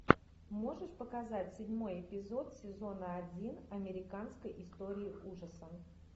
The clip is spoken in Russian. можешь показать седьмой эпизод сезона один американской истории ужасов